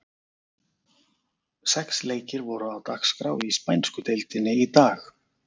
Sex leikir voru á dagskrá í spænsku deildinni í dag.